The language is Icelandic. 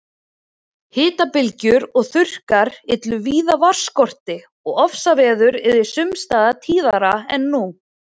Hitabylgjur og þurrkar yllu víða vatnsskorti og ofsaveður yrðu sums staðar tíðari en nú.